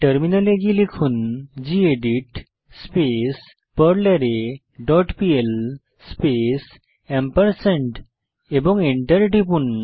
টার্মিনালে গিয়ে লিখুন গেদিত স্পেস পারলারে ডট পিএল স্পেস এবং enter টিপুন